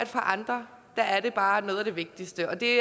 for andre er det bare noget af det vigtigste og det